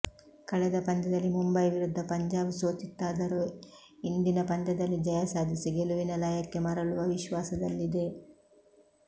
ಕಳೆದ ಪಂದ್ಯದಲ್ಲಿ ಮುಂಬೈ ವಿರುದ್ದ ಪಂಜಾಬ್ ಸೋತಿತ್ತಾದರು ಇಂದಿನ ಪಂದ್ಯದಲ್ಲಿ ಜಯ ಸಾಧಿಸಿ ಗೆಲುವಿನ ಲಯಕ್ಕೆ ಮರಳುವ ವಿಶ್ವಾಸದಲ್ಲಿದೆ